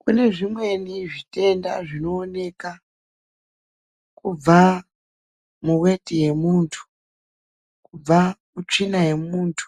Kune zvimweni zvitenda zvinoonekwa kubva muweti yemuntu, kubva mutsvina yemuntu,